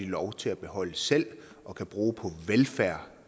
lov til at beholde selv og kan bruge på velfærd